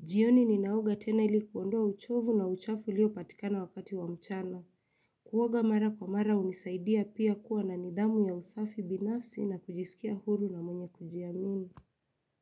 Jioni ninaoga tena ili kuondoa uchovu na uchafu ulio patikana wakati wa mchana. Kuoga mara kwa mara hunisaidia pia kuwa na nidhamu ya usafi binafsi na kujisikia huru na mwenye kujiamini.